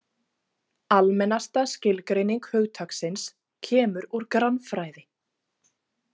Almennasta skilgreining hugtaksins kemur úr grannfræði.